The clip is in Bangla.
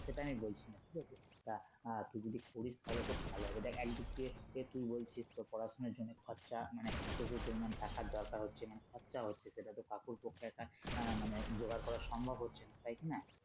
সেটাই আমি বলছি তোকে তা আহ তুই যদি করিস তাহলে খুব ভালো হবে দেখ একদিন দিয়ে তুই বলছিস তোর পড়াশুনার জন্য খরচা মানে প্রচুর পরিমান টাকার দরকার হচ্ছে মানে খরচা হচ্ছে সেটা তো কাকুর পক্ষে একা আহ মানে জোগাড় করা সম্ভব হচ্ছে না তাই কিনা?